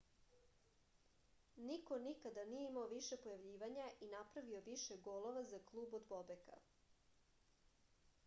niko nikada nije imao više pojavljivanja i napravio više golova za klub od bobeka